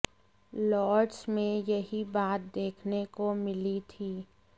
Lord's में यही बात देखने को मिली थी